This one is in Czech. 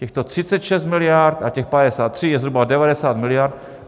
Těchto 36 miliard a těch 53 je zhruba 90 miliard.